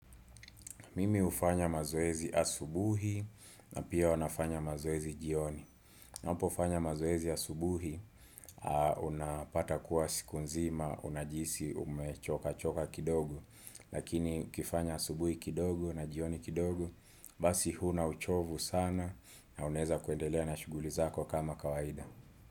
Mimi hufanya mazoezi asubuhi na pia huwa nafanya mazoezi jioni. Unapo fanya mazoezi asubuhi, unapata kuwa siku nzima, unajihisi umechoka choka kidogo. Lakini ukifanya asubuhi kidogo na jioni kidogo, basi huna uchovu sana na unweza kuendelea na shuguli zako kama kawaida.